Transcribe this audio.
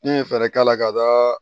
N'i ye fɛɛrɛ k'a la ka taa